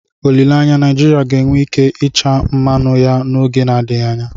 Olileanya, Naijiria ga-enwe ike ịcha mmanụ ya n'oge na-adịghị anya.